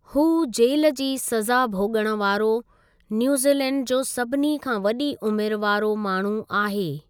हू जेल जी सॼा भोॻण वारो न्यूजीलैंड जो सभिनी खां वॾी उमिरि वारो माण्हू आहे।